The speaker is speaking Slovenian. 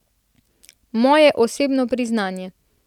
Moje osebno priznanje.